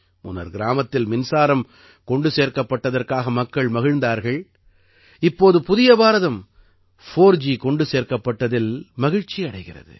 முன்னர் கிராமத்தில் மின்சாரம் கொண்டு சேர்க்கப்பட்டதற்காக மக்கள் மகிழ்ந்தார்கள் இப்போது புதிய பாரதம் 4ஜி கொண்டு சேர்க்கப்பட்டதில் மகிழ்ச்சி அடைகிறது